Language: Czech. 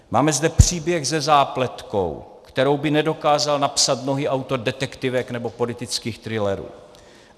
Máme zde příběh se zápletkou, kterou by nedokázal napsat mnohý autor detektivek nebo politických thrillerů.